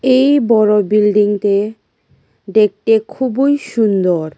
এই বড় বিল্ডিংতে দেখতে খুবই সুন্দর।